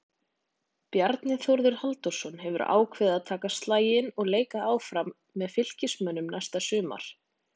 Bjarni Þórður Halldórsson hefur ákveðið að taka slaginn og leika áfram með Fylkismönnum næsta sumar.